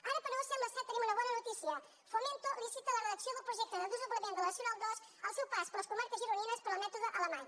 ara però sembla que tenim una bona notícia fomento licita la redacció del projecte de desdoblament de la nacional ii al seu pas per les comarques gironines pel mètode alemany